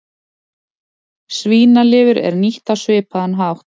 Svínalifur er nýtt á svipaðan hátt.